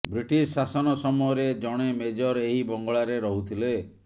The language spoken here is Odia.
ବ୍ରିଟିଶ ଶାସନ ସମୟରେ ଜଣେ ମେଜର ଏହି ବଙ୍ଗଳାରେ ରହୁଥିଲେ